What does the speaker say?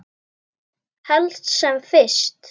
Helst sem fyrst.